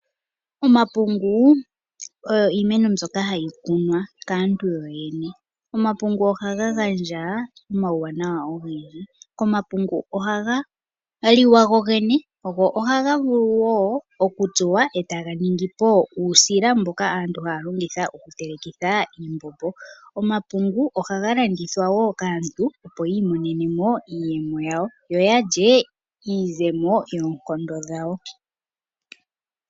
Omapungu oyo iimeno mbyoka hayi kunwa kaantu yoyene. Omapungu ohaga gandja omawuwanawa ogendji. Omapungu ohaga liwa gogene go ohaga vulu wo okutsuwa e taga ningi po uusila mboka aantu haya longitha okutelekitha iimbombo. Omapungu ohaga landithwa wo kaantu opo yiimonenemo iiyemo yawo, yo ya lye iizemo yoonkondo dhawo.